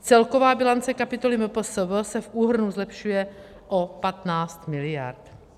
Celková bilance kapitoly MPSV se v úhrnu zlepšuje o 15 mld.